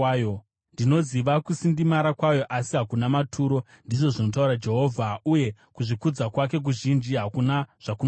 Ndinoziva kusindimara kwayo asi hakuna maturo,” ndizvo zvinotaura Jehovha, “uye kuzvikudza kwake kuzhinji hakuna zvakunoreva.